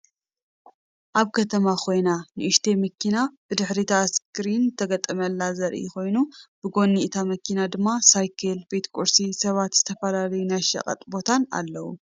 አብ ከተማ ኮይና ንኡሽተይ መኪና ብድሕሪታ ስክሪን ዝተገጠመላ ዘርኢ ኮይኑ ብጎኒ እታ መኪና ድማ ሳይክል፣ ቤት ቁርሲ፣ ሰባትን ዝተፈላለዩ ናይ ሸቀት ቦታን አለዉ።